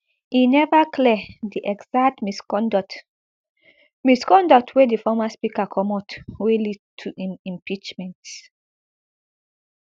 e neva clear di exact misconduct misconduct wey di former speaker comot wey lead to im impeachment